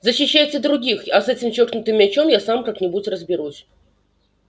защищайте других а с этим чокнутым мячом я сам как-нибудь разберусь